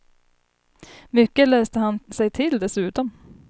Mycket läste han sig till dessutom.